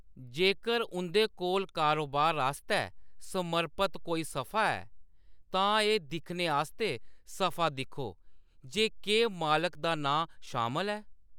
जेकर उंʼदे कोल कारोबार आस्तै समर्पत कोई सफा है, तां एह्‌‌ दिक्खने आस्तै सफा दिक्खो जे केह्‌‌ मालक दा नांऽ शामल ऐ।